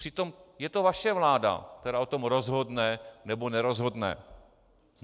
Přitom je to vaše vláda, která o tom rozhodne, nebo nerozhodne.